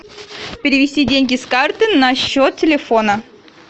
перевести деньги с карты на счет телефона